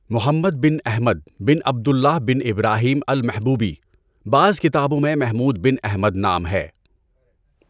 محمد bin Ahmad bin Abdullah bin Ibrahim al-Mahbubi. بعض کتابوں میں محمود بن احمد نام ہے۔